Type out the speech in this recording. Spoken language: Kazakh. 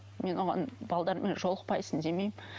мен оған жолықпайсың демеймін